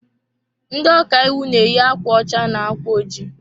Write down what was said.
Ndị ọkàiwu na eyi akwa ọcha na ákwà ojii